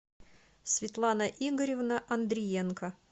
светлана игоревна андриенко